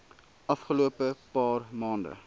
afgelope paar maande